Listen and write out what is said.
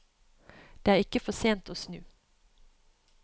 Det er ikke for sent å snu.